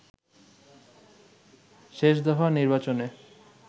শেষ দফা নির্বাচনে